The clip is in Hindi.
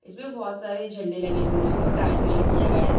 इसमें बहुत सारे झंडे लग गए हैं और रेड कलर किया गया है।